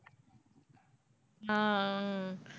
ஆஹ் அஹ்